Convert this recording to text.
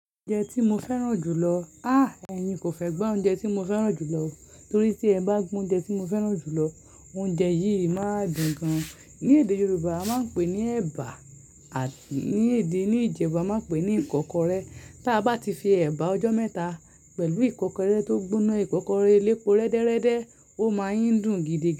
Oúnjẹ tí mo fẹ́ràn jù lọ. Ah! Ẹ̀ni kò fẹ́ gbọ́ oúnjẹ tí mo fẹ́ràn jù lọ, torí tí ẹ bá gbọ́ oúnjẹ tí mo fẹ́ràn jù lọ, oúnjẹ yìí máa dùn gan-an. Ni èdè Yorùbá a máa ń pè ní ẹ̀bà àti ní èdè ní Ìjẹ̀bú a máa ń pè ní ìkọ́kọrẹ́. Tí a bá ti fi ẹ̀bà ọjọ́ mẹ́ta pẹ̀lú ìkọ́kọrẹ́ tó gbóná, ìkọ́kọrẹ́ elépo rẹ́dẹ́rẹ́dẹ́, ó máa ń dùn gidi gan.